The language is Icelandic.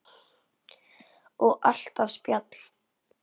Og alltaf spjall.